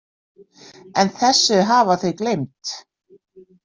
En þessu hafa þau gleymt.